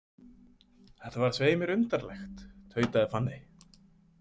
Þetta var svei mér undarlegt, tautaði Fanney.